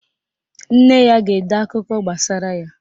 Nne ya ga-ede akụkọ gbasara ya.